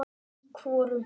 Í hvorum?